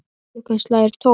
Klukkan slær tólf.